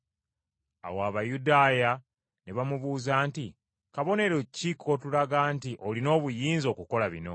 Awo Abayudaaya ne bamubuuza nti, “Kabonero ki k’otulaga nti olina obuyinza okukola bino?”